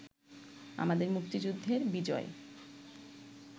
আমাদের মুক্তিযুদ্ধের বিজয়ের